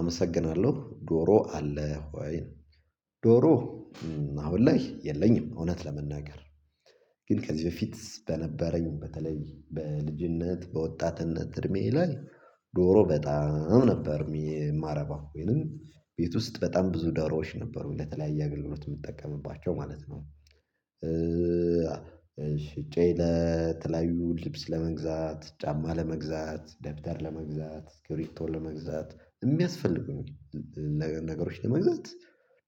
አመሰግናለሁ ዶሮ አለህ ወይ ነው? ዶሮ አሁን ላይ የለኝም እውነት ለመናገር ግን ከዚህ በፊት በነበረኝ በተለይ በልጅነት በወጣትነት እድሜዬ ላይ ዶሮ በጣም ነበር የማረባው። ወይንም ቤት ውስጥ በጣም ብዙ ዶሮዎች ነበሩ ለተለያየ አገልግሎት የምጠቀምባቸው ማለት ነው። ሽጬ ለተለያዩ ልብስ ለመግዛት፣ ጫማ ለመግዛት፣ ደብዳር ለመግዛት፣ እስክርቢቶ ለመግዛት፣ የሚያስፈልጉኝ ነገሮች ለመግዛት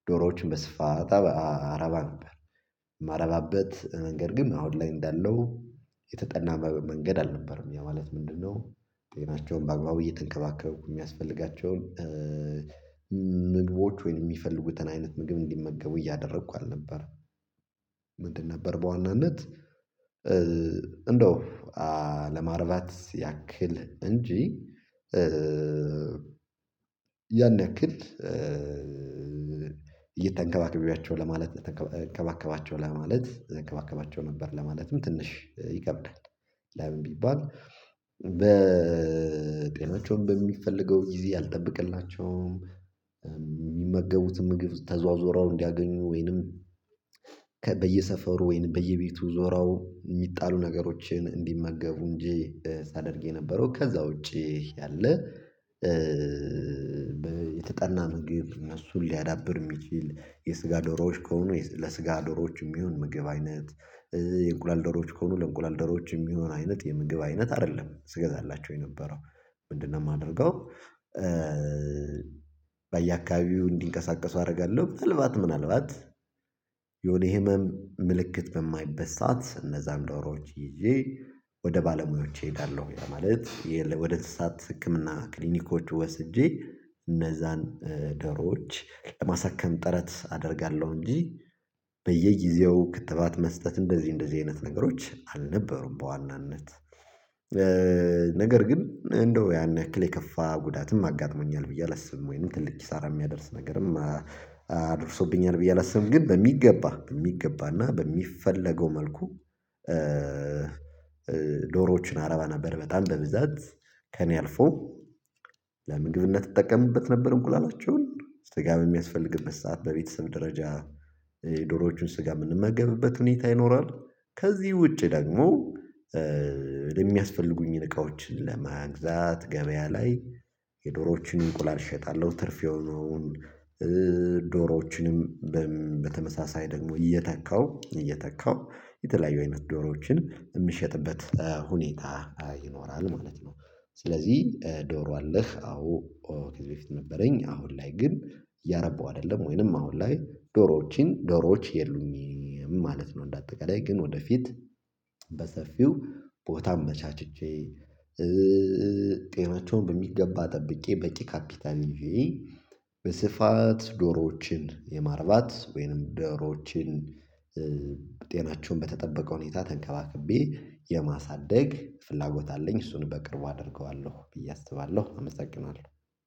ዶሮዎችን በስፋት አረባ ነበር። የማረባበት መንገድ ግን አሁን ላይ እንዳለው የተጠና መንገድ አልነበረም ያ ማለት ምንድነው ጤናቸውን በአግባቡ እየተንከባከብኩ የሚያስፈልጋቸውን ምግቦች ወይም የሚፈልጉትን አይነት ምግብ እንዲመገቡ እያደረኩ አልነበረም። ምንድን ነበር በዋናነት እንደው ለማርባት ያክል እንጂ ያን ያክል እየተንከባክቢያቸው ለማለት ተንከባ እንከባከባቸው ለማለት እንከባከባቸው ነበር ለማለትም ትንሽ ይከብዳል ለምን ቢባል በ ጤናቸውም በሚፈልገው ጊዜ አልጠብቅላቸውም የሚመገቡትም ምግብ ተዟዟረው እንዲያገኙ ወይንም ከ በየሰፈሩ ወይንም በየቤቱ ዞረው የሚጣሉ ነገሮችን እንዲመገቡ እንጂ ሳደርግ የነበረው ከዛ ውጪ ያለ የተጠና ምግብ እነሱን ሊያዳብር የሚችል የስጋ ዶሮዎች ከሆኑ የ ለስጋ ዶሮዎች የሚሆን ምግብ አይነት የእንቁላል ዶሮዎች ከሆኑ ለእንቁላል ዶሮዎች የሚሆን አይነት የምግብ አይነት አይደለም ስገዛላቸው የነበረው ምንድነው የማደርገው በየአካባቢው እንዲንቀሳቀሱ አደርጋለሁ ምናልባት ምናልባት የሆነ የህመም ምልክት በማይበት ሰዓት እነዛን ዶሮዎች ይዤ ወደ ባለሙያዎች እሄዳለሁ ያ ማለት የለ ወደ እንስሳት ህክምና ክሊኒኮች ወስጄ እነዛን ደሮዎች ለማሳከም ጥረት አደርጋለሁ እንጂ በየጊዜው ክትባት መስጠት እንደዚህ እንደዚህ አይነት ነገሮች አልነበሩም በዋናነት ነገር ግን እንደው ያን ያክል የከፋ ጉዳትም አጋጥሞኛል ብዬ አላስብም ወይም ትልቅ ኪሳራ የሚያደርስ ነገርም አ አድርሶብኛል ብዬ አላስብም ግን በሚገባ በሚገባና በሚፈለገው መልኩ ዶሮዎችን አረባ ነበር በጣም በብዛት ከእኔ አልፎ ለምግብነት እጠቀምበት ነበር እንቁላላቸውን ስጋም በሚያስፈልግበት ሰዓት በቤተሰብ ደረጃ ዶሮዎችን ስጋ የምንመገብበት ሁኔታ ይኖራል ከዚህ ውጪ ደግሞ የሚያስፈልጉኝ እቃዎች ለመግዛት ገበያ ላይ የዶሮዎችን እንቁላል እሸጣለሁ ትርፍ የሆኑ ዶሮዎችንም በሚ በተመሳሳይ ደግሞ እየተካው እየተካው የተለያዩ አይነት ዶሮዎችን የምሸጥበት ሁኔታ ይኖራል ማለት ነው ስለዚህ ዶሮ አለህ አዎ ከዚህ በፊት ነበረኝ አሁን ላይ ግን እያረበው አይደለም ወይንም አሁን ላይ ዶሮዎችን ዶሮዎች የሉኝም ማለት ነው እንደ አጠቃላይ ግን ወደፊት በሰፊው ቦታም አመቻችቼ ጤናቸውን በሚገባ ጠብቄ በቂ ካፒታል ይዤ በስፋት ዶሮዎችን የማርባት ወይንም ዶሮዎችን ጤናቸውን በተጠበቀ ሁኔታ ተንከባክቤ የማሳደግ ፍላጎት አለኝ እሱን በቅርቡ አደርገዋለሁ ብዬ አስባለሁ አመሰግናለሁ